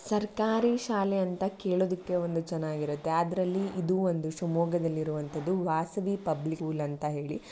ಸರ್ಕಾರಿ ಶಾಲೆ ಅಂತ ಕೇಳೋದಕ್ಕೆ ಒಂದು ಚೆನ್ನಾಗಿರುತ್ತೆ ಅದರಲ್ಲಿ ಇದು ಒಂದು ಶಿವಮೊಗ್ಗದಲ್ಲಿ ಇರೋಹಂತದ್ದು ವಾಸವಿ ಪಬ್ಲಿಕ್ ಸ್ಕೂಲ್ ಅಂತ ಹೇಳಿ.